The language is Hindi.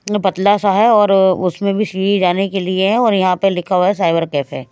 पतला सा है और उसमें भी सी जाने के लिए है और यहाँ पे लिखा हुआ है साइबर कैफे।